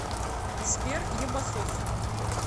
сбер ебасос